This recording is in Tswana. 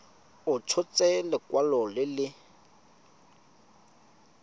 a tshotse lekwalo le le